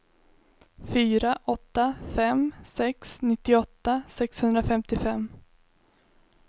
fyra åtta fem sex nittioåtta sexhundrafemtiofem